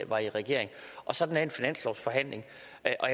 var i regering og sådan er en finanslovsforhandling jeg